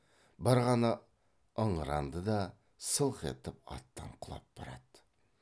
бір ғана ыңыранды да сылқ етіп аттан құлап барады